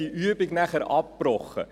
Diese Übung wurde abgebrochen.